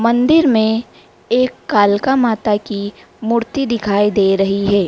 मंदिर में एक कालका माता की मूर्ति दिखाई दे रही है।